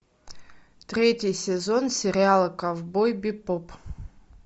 третий сезон сериала ковбой бибоп